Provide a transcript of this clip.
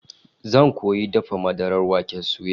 Zan koyi dafa madarar waken suya